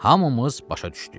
Hamımız başa düşdük.